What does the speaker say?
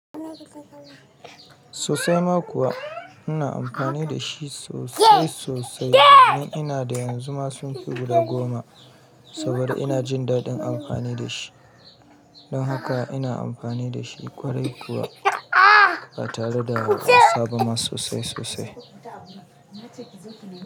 Sosai ma kuwa ina amfani da shi sosai sosai tun ina da yanzu ma sun fi guda goma saboda ina jin daɗin amfani da shi. Don haka ina amfani da shi ƙwarai kuwa ba tare da kasaba ma sosai sosai.